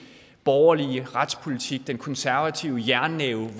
borgerlige retspolitik hvor den konservative jernnæve